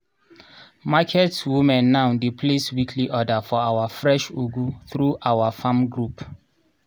market women now dey place weekly order for our fresh ugu through our farm group